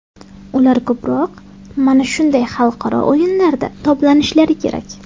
Ular ko‘proq mana shunday xalqaro o‘yinlarda toblanishlari kerak.